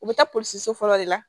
U bɛ taa polisiso fɔlɔ de la